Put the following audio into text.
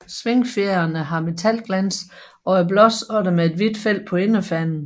Svingfjerene har metalglans og er blåsorte med et hvidt felt på inderfanen